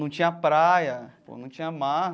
Não tinha praia pô, não tinha mar.